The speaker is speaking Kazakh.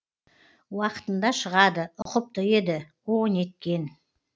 уақытында шығады ұқыпты еді о неткен